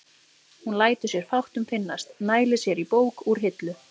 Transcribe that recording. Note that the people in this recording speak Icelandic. Hún lætur sér fátt um finnast, nælir sér í bók úr hillu.